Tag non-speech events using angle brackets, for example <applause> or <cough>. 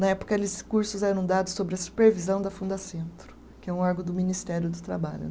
Na época, <unintelligible> esses cursos eram dados sobre a supervisão da Fundacentro, que é um órgão do Ministério do Trabalho.